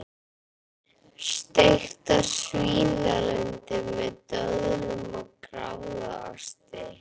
Steiktar svínalundir með döðlum og gráðaosti